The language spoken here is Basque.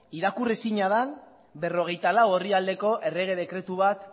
irakur ezina den berrogeita lau orrialdeko errege dekretu bat